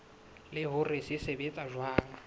le hore se sebetsa jwang